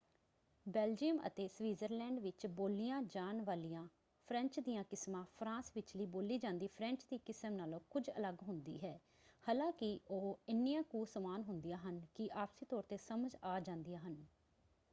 Belgium ਅਤੇ Switzerland ਵਿੱਚ ਬੋਲੀਆਂ ਜਾਣ ਵਾਲੀਆਂ ਫ੍ਰੈਂਚ ਦੀਆਂ ਕਿਸਮਾਂ ਫਰਾਂਸ ਵਿਚਲੀ ਬੋਲੀ ਜਾਂਦੀ ਫ੍ਰੈਂਚ ਦੀ ਕਿਸਮ ਨਾਲੋਂ ਕੁਝ ਅਲੱਗ ਹੁੰਦੀ ਹੈ ਹਾਲਾਂਕਿ ਉਹ ਇੰਨੀਆਂ ਕੁ ਸਮਾਨ ਹੁੰਦੀਆਂ ਹਨ ਕਿ ਆਪਸੀ ਤੌਰ ‘ਤੇ ਸਮਝ ਆ ਜਾਂਦੀਆਂ ਹਨ।